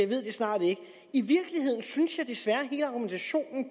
ved det snart ikke i virkeligheden synes jeg desværre at hele argumentationen